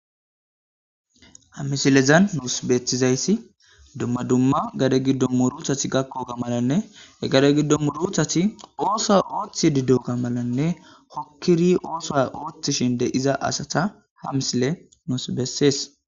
Ha misilezan nuusu beettizayssi dumma dumma gade giddon muurutati gakkoga malanne he gade giddo murutati oosuwa oothrhidi diyoga malanne hokkidi oosuwa ooththishe de'iza asata ha misiley nuusu besses.